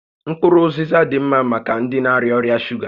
Mkpụrụ ụzịza dị ḿmá maka ndị na-arịa ọrịa shuga